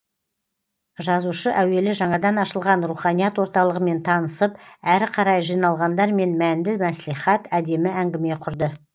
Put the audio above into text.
жазушы әуелі жаңадан ашылған руханият орталығымен танысып әрі қарай жиналғандармен мәнді мәслихат әдемі әңгіме құрды